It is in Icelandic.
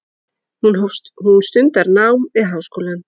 Hún stundar nám við háskólann.